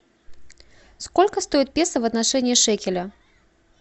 сколько стоит песо в отношении шекеля